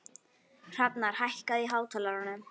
Hrafnar, hækkaðu í hátalaranum.